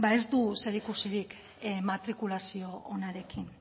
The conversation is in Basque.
ez du zerikusirik matrikulazio onarekin